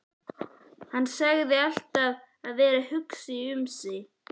Hann sagðist alltaf vera að hugsa um mig.